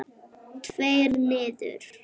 Tveir niður?